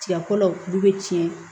Tiga ko la du bɛ tiɲɛ